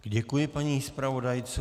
Děkuji paní zpravodajce.